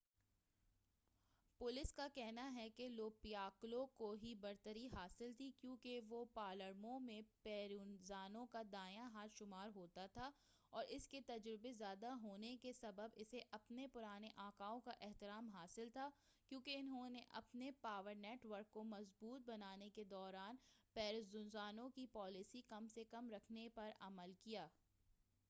police کا کہنا ہے کہ لو پِیکالو کو ہی برتری حاصل تھی کیونکہ وہ پالرمو میں پروینزانو کا دایاں ہاتھ شمار ہوتا تھا اور اس کے تجربے زیادہ ہونے نے کے سبب اسے اپنے پرانے آقاؤں کا احترام حاصل تھا کیونکہ انہوں نے اپنے پاور نیٹ ورک کو مضبوط بنانے کے دوران پروینزانو کی پالیسی کم سے کم رکھنے کی پر عمل کیا